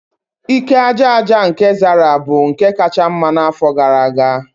Ike aja aja nke Zara bụ nke kacha mma n'afọ gara aga